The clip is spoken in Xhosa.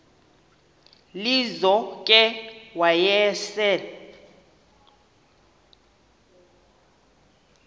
lizo ke wayesel